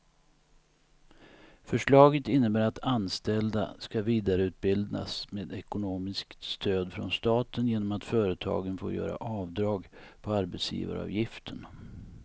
Förslaget innebär att anställda ska vidareutbildas med ekonomiskt stöd från staten genom att företagen får göra avdrag på arbetsgivaravgiften.